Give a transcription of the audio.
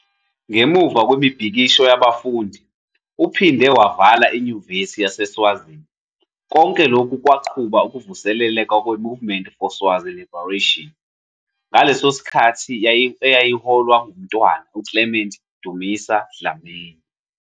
Ngemuva kwemibhikisho yabafundi, uphinde wavala iNyuvesi yaseSwazini, konke lokhu kwaqubula ukuvuseleleka kweMovement for Swazi Liberation, ngaleso sikhathi eyayiholwa nguMntwana uClement Dusima Dlamini.